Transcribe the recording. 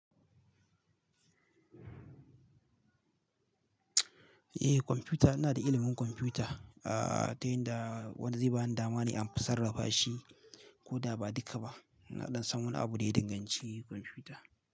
Eh kwamfuta ina da ilimin kwamfuta, ah ta yadda wani zai bani dama ne in sarrafa shi ko da ba duka ba. Na dan san wani abu da ya danganci kwamfuta.